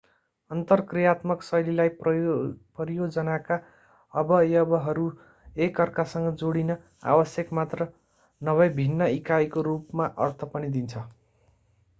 अन्तरक्रियात्मक शैलीलाई परियोजनाका अवयवहरू एकअर्कासँग जोडिन आवश्यक मात्र नभई भिन्न इकाइको रूपमा अर्थ पनि दिन्छ